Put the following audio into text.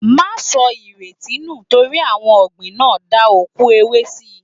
Máa sọ ìrètí nù lórí ohun ọ̀gbìn náà, da awon òkú ewé síi.